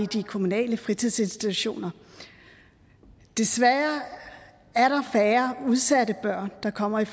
de kommunale fritidsinstitutioner desværre er der udsatte børn der kommer i